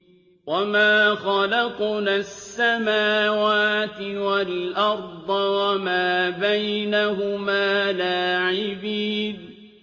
وَمَا خَلَقْنَا السَّمَاوَاتِ وَالْأَرْضَ وَمَا بَيْنَهُمَا لَاعِبِينَ